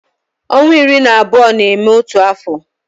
Ọnwa iri na abụọ na-eme otu afọ